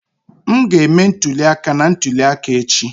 M ga-eme ntuli aka na ntuli aka echi